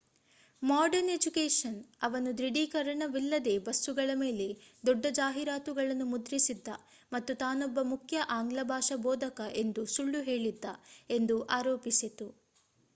modern education ಅವನು ದೃಢೀಕರಣವಿಲ್ಲದೇ ಬಸ್ಸುಗಳ ಮೇಲೆ ದೊಡ್ಡ ಜಾಹೀರಾತುಗಳನ್ನು ಮುದ್ರಿಸಿದ್ದ ಮತ್ತು ತಾನೊಬ್ಬ ಮುಖ್ಯ ಆಂಗ್ಲ ಭಾಷಾ ಬೋಧಕ ಎಂದು ಸುಳ್ಳು ಹೇಳಿದ್ದ ಎಂದು ಅರೋಪಿಸಿತು